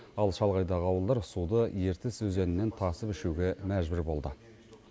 ал шалғайдағы ауылдар суды ертіс өзенінен тасып ішуге мәжбүр болды